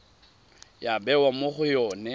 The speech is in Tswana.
ya bewa mo go yone